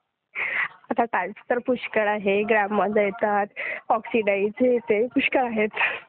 आता टाईप्स तर पुष्कळ आहेत. ग्राममध्ये येतात, ऑक्सिडाईज्ड येते. पुष्कळ आहेत.